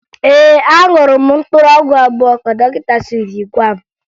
Ee, aṅụrụ m mkpụrụ ọgwụ abụọ ka dọkịta siri gwa m